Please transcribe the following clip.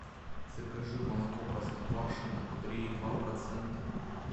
закажи молоко простоквашино три и два процента